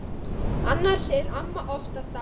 Annars er amma oftast ágæt.